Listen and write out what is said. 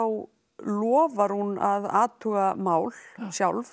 lofar hún að athuga mál sjálf